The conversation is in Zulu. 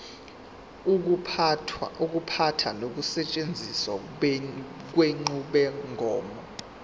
ukuphatha nokusetshenziswa kwenqubomgomo